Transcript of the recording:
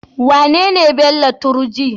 Wanene Bello Turji?